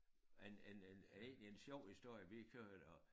Men men en egentlig en sjov historie vi kørte og